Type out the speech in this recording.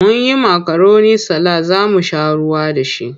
Mun yi makaroni salad za mu sha ruwa da shi.